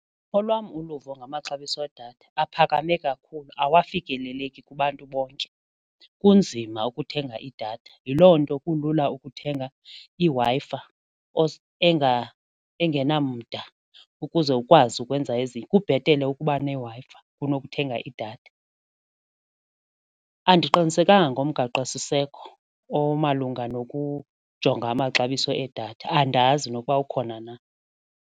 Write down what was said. Ngolwam uluvo ngamaxabiso edatha, aphakame kakhulu awafikeleleki kubantu bonke kunzima ukuthenga idatha yiloo nto kulula ukuthenga iWi-Fi engenamda ukuze ukwazi ukwenza ezinto. Kubhetele ukuba neWi-Fi kunokuthenga idatha. Andiqinisekanga ngomgaqosiseko omalunga nokujonga amaxabiso edatha andazi nokuba ukhona na.